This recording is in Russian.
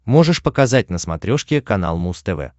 можешь показать на смотрешке канал муз тв